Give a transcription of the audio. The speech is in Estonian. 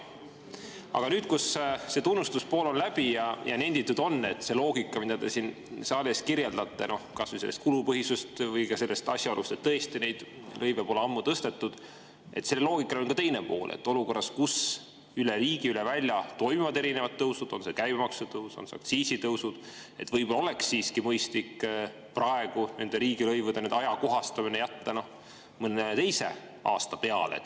Aga nüüd, kui see tunnustuse osa on läbi, nendin, et sellele loogikal, mida te siin saalis kirjeldate, rääkides kas kulupõhisusest või ka asjaolust, et tõesti lõive pole ammu tõstetud, on ka teine pool: olukorras, kus üle riigi, üle välja toimuvad erinevad tõusud, olgu käibemaksu tõus või aktsiisitõusud, oleks võib‑olla siiski mõistlik jätta riigilõivude ajakohastamine mõne teise aasta peale.